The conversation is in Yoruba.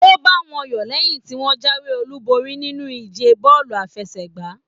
O ba wọn yọ lẹyin tí wọn jáwé olú borí nínú ìje bọọlu àfẹ́sẹ̀gbà.